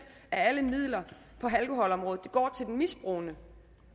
af alle midler på alkoholområdet går til den misbrugende